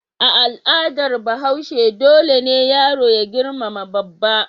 A al'adar Bahaushe dole ne yaro ya girmama babba.